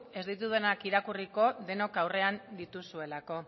ez ditudanak irakurriko denok aurrean dituzuelako